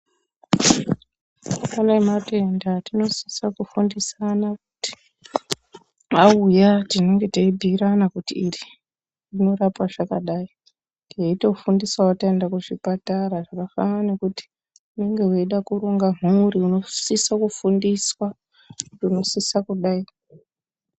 Pane matenda atinosisa kufundisana auya tinenge teibhuirana kuti iri rinorapa zvakadai. Teitofundisavo taenda kuzvipatara zvakafanana nekuti unenge veida kurunga zvimurivo unosisa kufundiswa unosisa kugai.